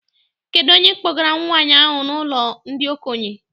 Kedụ onye kpọgara nwaanyị ahụ n'ụlọ ndị okenye?